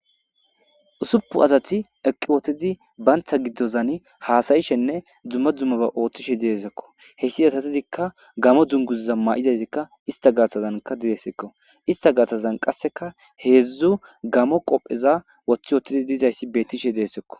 Usuppu asati eqqi wotizi bantha giddozan haasayishenne dzumma dzummaba ooththishe diesekko heyssi asatizikka gamo dzunguzza ma'izaysikka ista gaatazanka diresekko ista gaatazan qasseka heedzdzu gamo qoppheza wothi wootidi dizayssi bettishe deesekko